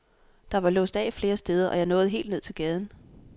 Der var låst af flere steder, og jeg nåede helt ned til gaden.